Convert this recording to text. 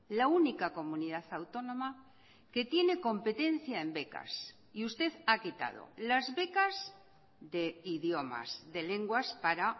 la única comunidad autónoma que tiene competencia en becas y usted ha quitado las becas de idiomas de lenguas para